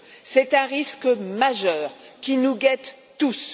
C'est un risque majeur qui nous guette tous.